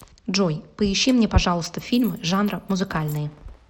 джой поищи мне пожалуйста фильмы жанра музыкальные